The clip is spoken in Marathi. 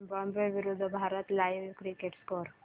झिम्बाब्वे विरूद्ध भारत लाइव्ह क्रिकेट स्कोर